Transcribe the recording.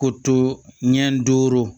Ko to ɲɛ duuru